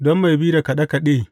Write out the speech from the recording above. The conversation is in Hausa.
Don mai bi da kaɗe kaɗe.